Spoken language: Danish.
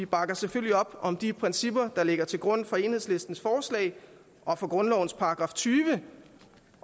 bakker selvfølgelig op om de principper der ligger til grund for enhedslistens forslag og for grundlovens § tyve